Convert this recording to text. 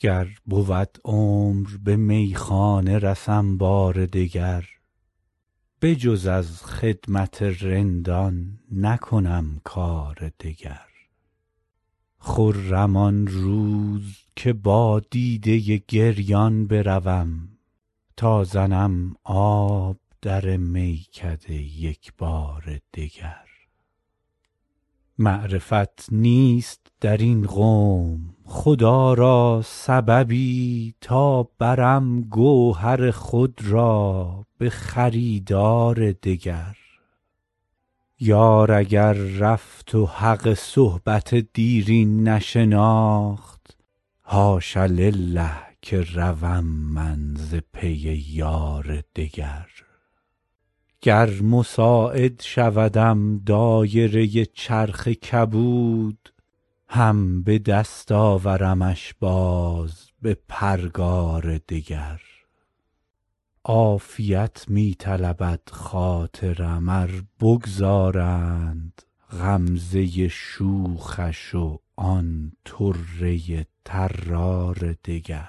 گر بود عمر به میخانه رسم بار دگر بجز از خدمت رندان نکنم کار دگر خرم آن روز که با دیده گریان بروم تا زنم آب در میکده یک بار دگر معرفت نیست در این قوم خدا را سببی تا برم گوهر خود را به خریدار دگر یار اگر رفت و حق صحبت دیرین نشناخت حاش لله که روم من ز پی یار دگر گر مساعد شودم دایره چرخ کبود هم به دست آورمش باز به پرگار دگر عافیت می طلبد خاطرم ار بگذارند غمزه شوخش و آن طره طرار دگر